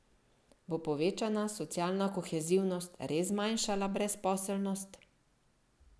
Bo povečana socialna kohezivnost res zmanjšala brezposelnost?